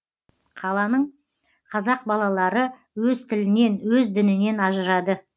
қаланың қазақ балалары өз тілінен өз дінінен ажырады